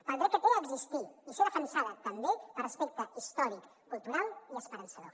pel dret que té a existir i ser defensada també per respecte històric cultural i esperançador